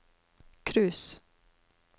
cruise